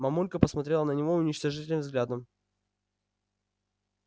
мамулька посмотрела на него уничижительным взглядом